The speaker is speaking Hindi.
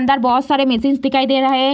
अंदर बहुत सारे मेशीन्स दिखाई दे रहे।